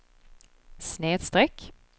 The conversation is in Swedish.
snedsträck